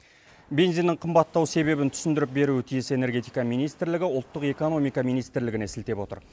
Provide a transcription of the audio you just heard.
бензиннің қымбаттау себебін түсіндіріп беруі тиіс энергетика министрлігі ұлттық экономика министрлігіне сілтеп отыр